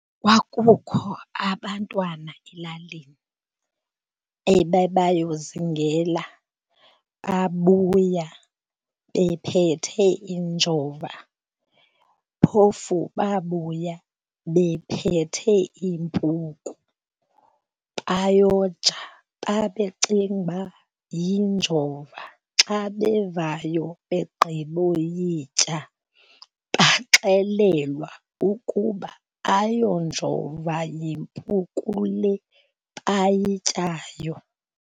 Kwakukho abantwana elalini ababeyozingela babuya bephethe injova. Phofu babuya bephethe impuku bayoja, babecinga uba yinjova. Xa bevayo begqiboyitya baxelelwa ukuba ayonjova yimpucuko le bayityayo.